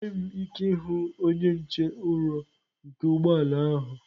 Enweghị m ike ịhụ onye nche ụrọ nke ụgbọ ala ahụ.